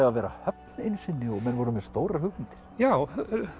að vera höfn einu sinni og menn voru með stórar hugmyndir já